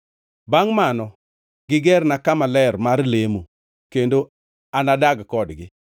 “Bangʼ mano gigerna kama ler mar lemo kendo anadag kodgi.